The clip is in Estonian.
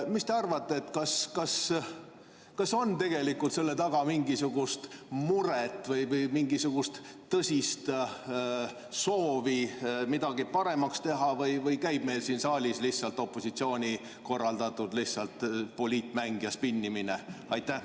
Mis te arvate, kas selle taga on tegelikult mingisugune mure või mingisugune tõsine soov midagi paremaks teha või käib meil siin saalis lihtsalt opositsiooni korraldatud poliitmäng ja spinnimine?